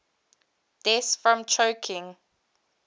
deaths from choking